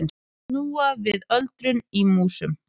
Snúa við öldrun í músum